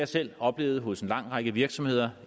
selv oplevet hos en lang række virksomheder